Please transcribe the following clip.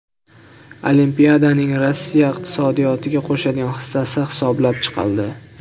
Olimpiadaning Rossiya iqtisodiyotiga qo‘shadigan hissasi hisoblab chiqildi.